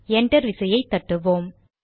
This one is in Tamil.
என்டர் விசையை தட்டுவோம்